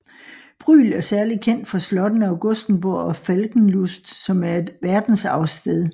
Brühl er særlig kendt for slottene Augustsburg og Falkenlust som er et verdensarvssted